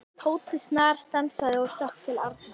Tóti snarstansaði og stökk til Arnar.